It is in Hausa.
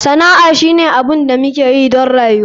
Sana'a shine abin da muke yi don rayuwa.